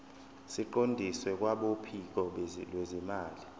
siqondiswe kwabophiko lwezimali